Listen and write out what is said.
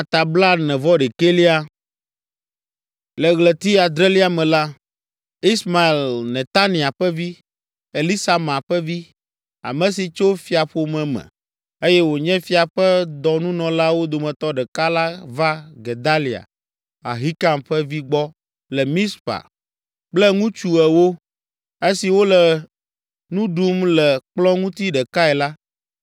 Le ɣleti adrelia me la, Ismael, Netania ƒe vi, Elisama ƒe vi, ame si tso fiaƒome me, eye wònye fia ƒe dɔnunɔlawo dometɔ ɖeka la va Gedalia, Ahikam ƒe vi gbɔ le Mizpa kple ŋutsu ewo. Esi wole nu ɖum le kplɔ̃ ŋuti ɖekae la,